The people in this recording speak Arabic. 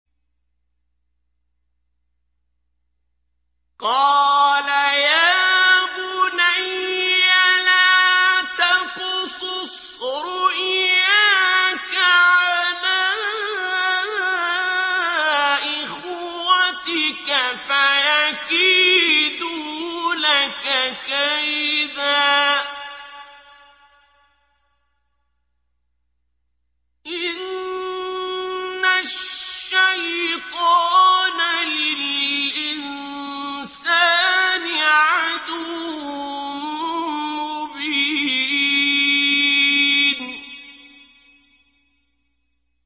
قَالَ يَا بُنَيَّ لَا تَقْصُصْ رُؤْيَاكَ عَلَىٰ إِخْوَتِكَ فَيَكِيدُوا لَكَ كَيْدًا ۖ إِنَّ الشَّيْطَانَ لِلْإِنسَانِ عَدُوٌّ مُّبِينٌ